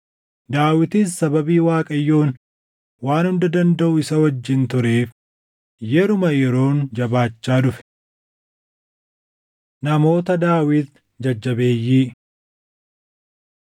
Daawitis sababii Waaqayyoon Waan Hunda Dandaʼu isa wajjin tureef yeruma yeroon jabaachaa dhufe. Namoota Daawit Jajjabeeyyii 11:10‑41 kwf – 2Sm 23:8‑39